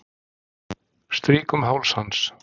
Strýk um háls hans.